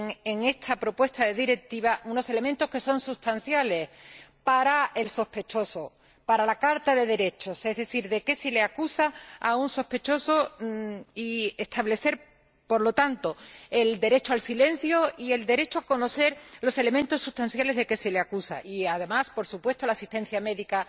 en esta propuesta de Directiva unos elementos que son sustanciales para el sospechoso, para la carta de derechos, es decir, saber de qué se acusa a un sospechoso y establecer, por lo tanto, el derecho al silencio y el derecho a conocer los elementos sustanciales de que se le acusa, además de, por supuesto, la asistencia médica,